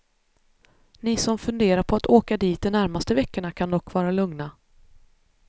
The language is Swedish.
Ni som funderar på att åka dit de närmaste veckorna kan dock vara lugna.